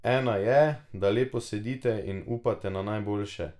Ena je, da lepo sedite in upate na najboljše.